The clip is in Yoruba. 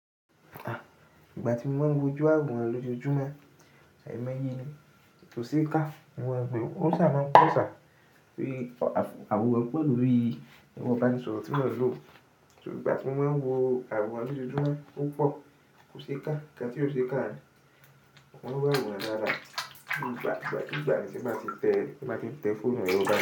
Ìgbà tí mo máa ń wo ojú àwòrán lójọ́ojúmọ́, ìmọ̀ye ni, kò ṣe é ká. Mo máa ń gbẹ̀-, ó ṣà máa ń pọ̀ sá tórí àwọn àwòrán pẹ̀ lorí ero ìbánisọ̀rọ̀ tí mo n lò. So ìgbà tí mo máa ń wo àwòrán lójoojúmọ́ ó pọ̀, kò ṣe é ká. Nkan tí ó ṣe é ká ni, mo máa ń wo àwòrán dáadáa. Ìgbà, ìgbà, ìgbà tí mo bá ti tẹ́, tí n bá ti n tẹ fóònù mi báyi.